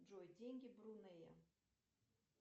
джой деньги брунея